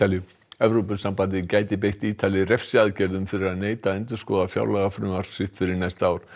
Evrópusambandið gæti beitt Ítali fyrir neita að endurskoða fjárlagafrumvarp sitt fyrir næsta ár